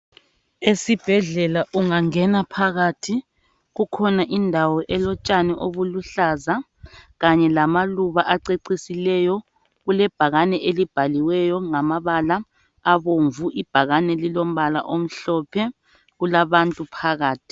Esibhedlela ungangena phakathi, kukhona indawo elotshani obuluhlaza kanye lamaluba acecisileyo. Kulebhakane elibhaliweyo ngamabala abomvu, ibhakane lilombala omhlophe. Kulabantu phakathi.